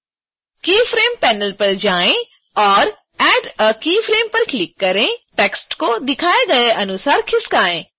keyframes panel पर जाएँ और add a keyframe पर क्लिक करें टेक्स्ट को दिखाए गए अनुसार खिसकाएँ